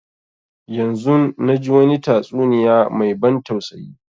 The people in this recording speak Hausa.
Yanzun na ji wani tastuniya mai ban tausayi